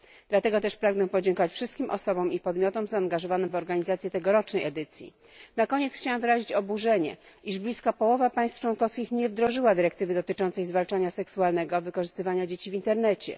Dlatego też pragnę podziękować wszystkim osobom i podmiotom zaangażowanym w organizację tegorocznej edycji. Na koniec chciałam wyrazić oburzenie, iż blisko połowa państw członkowskich nie wdrożyła dyrektywy dotyczącej zwalczania seksualnego wykorzystywania dzieci w internecie.